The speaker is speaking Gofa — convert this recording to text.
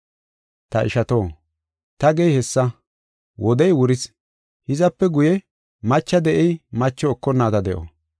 Ta ishato, ta gey hessa; wodey wuris. Hizape guye macha de7ey macho ekonnaada de7o.